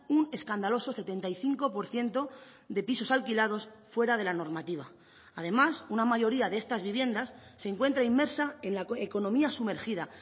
un escandaloso setenta y cinco por ciento de pisos alquilados fuera de la normativa además una mayoría de estas viviendas se encuentra inmersa en la economía sumergida